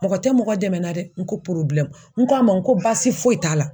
Mɔgɔ tɛ mɔgɔ dɛmɛ la dɛ n ko n k'a ma n ko basi foyi t'a la